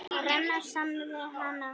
Að renna saman við hana.